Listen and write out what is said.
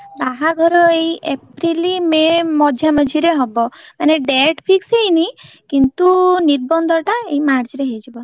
ବାହାଘର ଏଇ April, May ମଝିଆ ମଝିରେ ହବ ମାନେ date fix ହେଇନି କିନ୍ତୁ ନିର୍ବନ୍ଧ ଟା ଏଇ March ରେ ହେଇଯିବ।